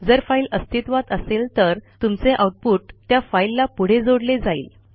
जर फाईल अस्तित्वात असेल तर तुमचे आऊटपुट त्या फाईलला पुढे जोडले जाईल